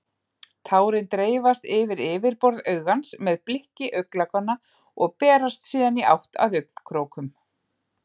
Tárin dreifast yfir yfirborð augans með blikki augnlokanna og berast síðan í átt að augnkrókum.